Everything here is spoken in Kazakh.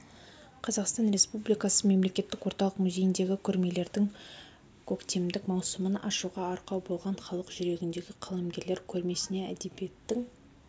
қазақстан республикасы мемлекеттік орталық музейіндегі көрмелердің көктемдік маусымын ашуға арқау болған халық жүрегіндегі қаламгерлер көрмесіне әдебиеттің